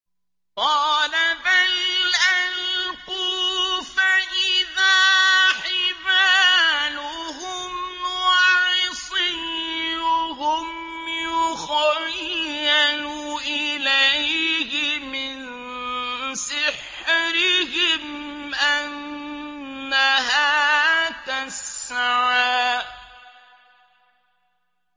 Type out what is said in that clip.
قَالَ بَلْ أَلْقُوا ۖ فَإِذَا حِبَالُهُمْ وَعِصِيُّهُمْ يُخَيَّلُ إِلَيْهِ مِن سِحْرِهِمْ أَنَّهَا تَسْعَىٰ